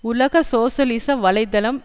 உலக சோசியலிச வலை தளம்